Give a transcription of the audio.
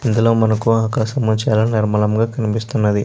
ఇందులో మనకు ఆకాశం నిర్మలంగా కనిపిస్తున్నది.